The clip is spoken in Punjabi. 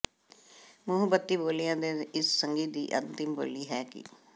ਮੁਹੱਬਤੀ ਬੋਲੀਆਂ ਦੇ ਇਸ ਸੰਗ੍ਹਿ ਦੀ ਅੰਤਿਮ ਬੋਲੀ ਹੈ ਕਿ